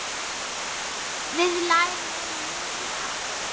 Við lærðum mikið af honum.